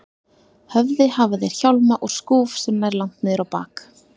höfði hafa þeir hjálma og skúf sem nær langt niður á bak.